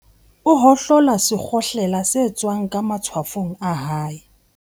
O hohlola sekgohlela se tswang ka matshwafong a hae.